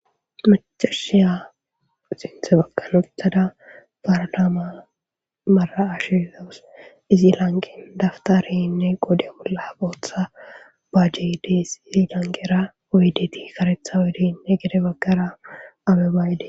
macashiya xinthe bakanothada baranaama mara ashizawos izi lanqen daftareynne qode bolla booththa bajjeydees izi lanqera oyidti karethawediinne gede baggara abe baayde